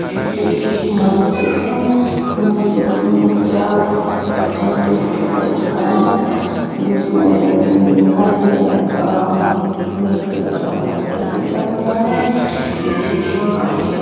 ये एक मस्जिद है मस्जिद चार मस्जिद हैजिसमे हरे कलर का रेड का पट्टा खींचा हुआ है पिछे झाड़ है।